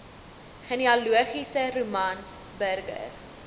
genealogiese romans burger